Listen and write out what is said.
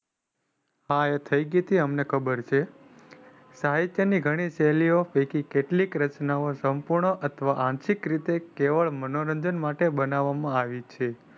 હા એ થઇ ગયી હતી એ અમને ખબર છે. સાહિત્ય ની ગણી શૈલ્લીઓ પૈકકી કેટલીક રચનાઓ સંપૂર્ણ અથવા આંશિક રીતે કેવળ મનોરંજન માટે બનાવામાં આવી છે.